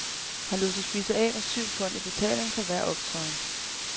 Han lod sig spise af med syv pund i betaling for hver optræden.